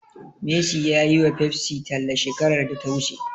Messi ya yiwa Pepsi talla shekarar da ta wuce.